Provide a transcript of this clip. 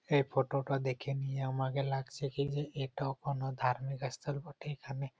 এই ফটো -টা দেখে নিয়ে আমাকে লাগছে কি যে এটা কোনো ধার্মিক স্থল বটে |এখানে--